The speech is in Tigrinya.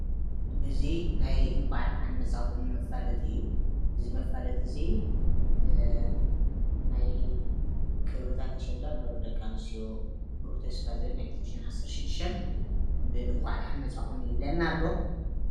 እዚ ናይ እንኳዕ ደሓን መፃኹም መፋለጢ እዩ፡፡ እዚ መፋለጢ እዚ ናይ ክብርታት ኣሸንዳን ንክብሪ ደቂ ኣንስትዮ ብሩህ ተስፋ ናይ 2016 እንኳዕ ደሓን መፃኹም ይብለና ኣሎ፡፡